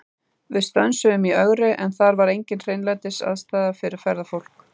Við stönsuðum í Ögri, en þar er engin hreinlætisaðstaða fyrir ferðafólk.